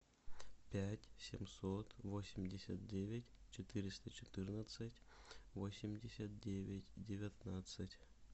пять семьсот восемьдесят девять четыреста четырнадцать восемьдесят девять девятнадцать